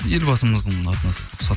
елбасымыздың атына